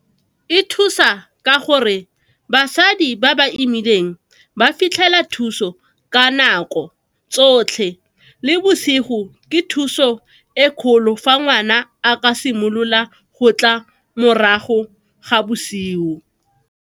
E thusa ka gore basadi ba ba imileng ba fitlhela thuso ka nako tsotlhe le bosigo, ke thuso e kgolo fa ngwana a ka simolola go tla morago ga bosigo.